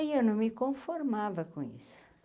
Aí eu não me conformava com isso.